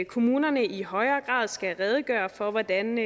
kommunerne i højere grad skal redegøre for hvordan